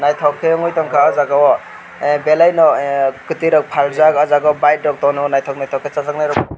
naithok khe ungoi tongkha o jaga o ah belai no kwtwirok phaljak o jaga o bike rok tono naithok naithok khe chajaknairok bo tongo.